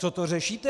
Co to řešíte?